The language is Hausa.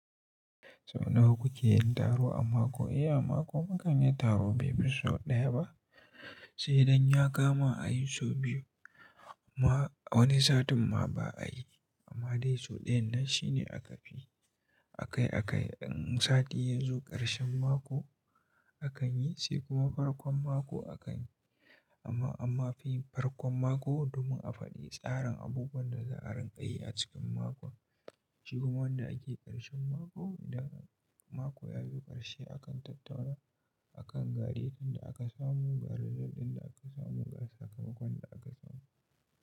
Sau nawa kuke yin taro a mako? Eh, a mako mukan yi taro bai fi sau ɗaya ba, sai dai in ya kama a yi sau biyu amma wani satin ma ba a yi. Amma dai sau ɗaya nan shine aka fi, a kai a kai. In sati yazo ƙarshen mako akan yi sai kuma farkon mako akan yi. Amma, amma fi farkon mako domin a faɗi tsarin abubuwan da za a rinƙayi a cikin makon. Shi kuma wanda ake ƙarshen mako da mako ya zo ƙarshe akan tattauna a kan garejin da aka samu, ga result ɗin da aka samu, ga sakamakon da aka samu.